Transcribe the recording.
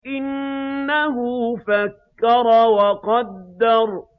إِنَّهُ فَكَّرَ وَقَدَّرَ